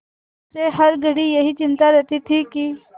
उसे हर घड़ी यही चिंता रहती थी कि